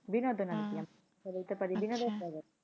বিনোদন idea বলতে পারি